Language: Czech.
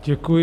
Děkuji.